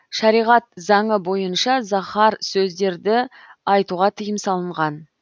шариғат заңы бойынша заһар сөздерді айтуға тыйым салынған